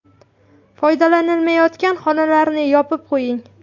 Foydalanilmayotgan xonalarni yopib qo‘ying.